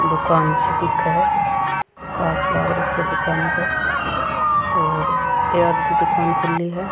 दुकान सी दिखे है कांच लाग राख्या दुकान के और ये आधी दुकान खुली है।